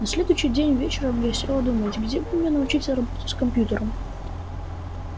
на следующий день вечером я села думать где бы мне научиться работать с компьютером